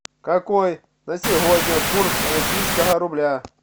какой на сегодня курс российского рубля